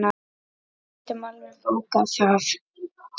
Við getum alveg bókað það.